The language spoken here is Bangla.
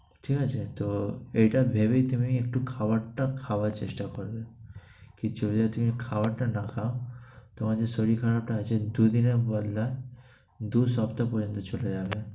ঠিক আছে? তো এটা ভেবেই তুমি একটু খাবারটা খাওয়ার চেষ্টা করবে। কি যদি না তুমি খাবারটা না খাও, তোমার যে শরীর খারাপটা হয়েছে, দুই দিনের বললা, দুই সপ্তাহ পর্যন্ত চলে যাবে।